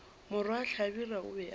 morwa hlabirwa o be a